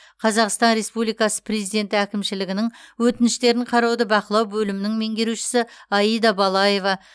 қазақстан республикасы президенті әкімшілігінің өтініштерін қарауды бақылау бөлімінің меңгерушісі аида балаева